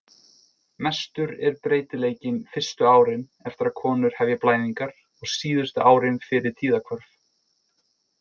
Mestur er breytileikinn fyrstu árin eftir að konur hefja blæðingar og síðustu árin fyrir tíðahvörf.